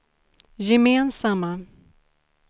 gemensamma